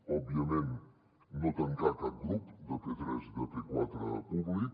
òbviament no tancar cap grup de p3 i de p4 públic